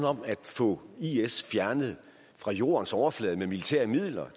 om at få isil fjernet fra jordens overflade med militære midler